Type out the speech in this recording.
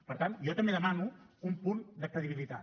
per tant jo també demano un punt de credibilitat